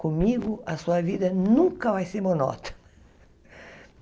Comigo, a sua vida nunca vai ser monótona.